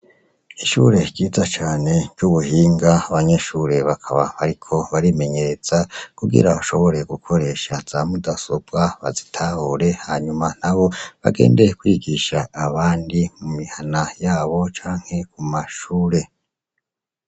Ishuri ryiza cane ry'ubuhinga abanyeshure bakaba bariko barimenyereza kugira bashobore gukoresha za mudasobwa bazitahure hama nabo bagende kwigisha abandi mu mihana yabo canke mumashure.